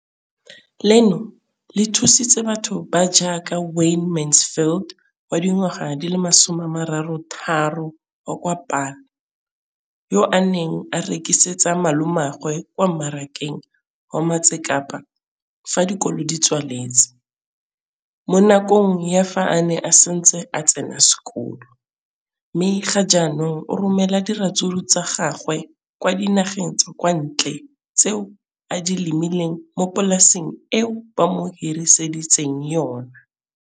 leno le thusitse batho ba ba jaaka Wayne Mansfield, 33, wa kwa Paarl, yo a neng a rekisetsa malomagwe kwa Marakeng wa Motsekapa fa dikolo di tswaletse, mo nakong ya fa a ne a santse a tsena sekolo, mme ga jaanong o romela diratsuru tsa gagwe kwa dinageng tsa kwa ntle tseo a di lemileng mo polaseng eo ba mo hiriseditseng yona.